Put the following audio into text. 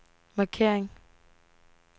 markering